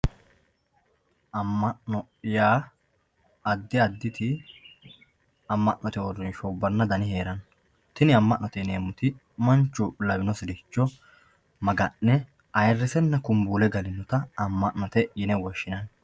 Ama'no yaa adi aditi ama'note uurinshubanna dani heerano tini ama'note yineemoti manichu lawinosiricho maga'ne ayiirisenna kumbuule galinotta ama'note yinnanni